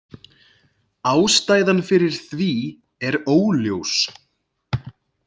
Ástæðan fyrir því er óljós.